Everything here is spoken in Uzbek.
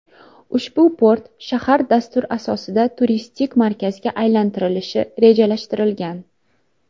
Ushbu port shahar dastur asosida turistik markazga aylantirilishi rejalashtirilgan.